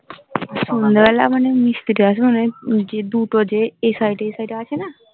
সন্ধ্যা বেলা মানে মিস থেকে আসে মানে দুটো যে এই শাড়িটা এই শাড়িটা আছে না